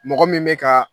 Mɔgɔ min bɛ ka